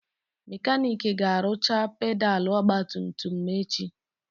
Mekanik ga-arụcha pedalụ ogbatumtum m echi.